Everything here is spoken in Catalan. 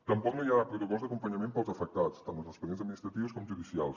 tampoc no hi ha protocols d’acompanyament per als afectats tant en els expedients administratius com judicials